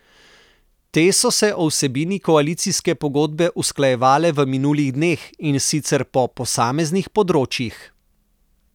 Te so se o vsebini koalicijske pogodbe usklajevale v minulih dneh, in sicer po posameznih področjih.